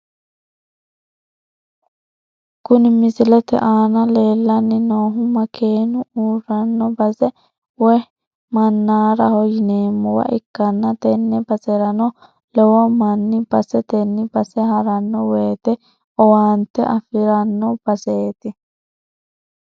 Kuni misilete aana leellanni noohu makeenu uurranno base woyi mannaaraho yineemmowa ikkanna , tenne baserano lowo manni basetenni base haranno wote owaante afiranno baseeti.